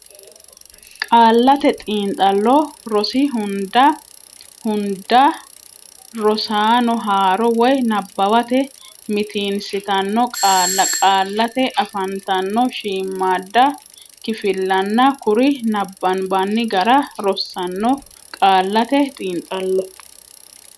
Qaallate Xiinxallo rosi hunda rosaano haaro woy nabbawate mitiinsitanno qaalla qaallate afantanno shiimmaadda kifillanna kuri nabbanbanni gara rossanno Qaallate Xiinxallo.